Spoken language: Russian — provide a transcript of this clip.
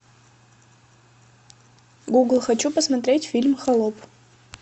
гугл хочу посмотреть фильм холоп